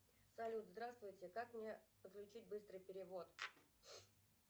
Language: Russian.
салют здравствуйте как мне подключить быстрый перевод